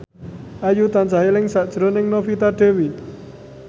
Ayu tansah eling sakjroning Novita Dewi